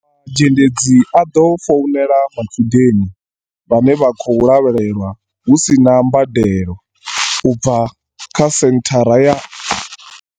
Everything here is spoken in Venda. Zhendedzi a ḓo founela matshudeni vhane vha khou lavhelelwa hu si na mbadelo, u bva kha senthara ya.